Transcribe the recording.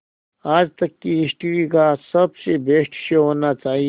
आज तक की हिस्ट्री का सबसे बेस्ट शो होना चाहिए